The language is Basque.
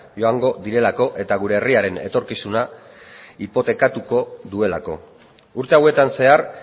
joango direlako eta gure herriaren etorkizuna hipotekatuko duelako urte hauetan zehar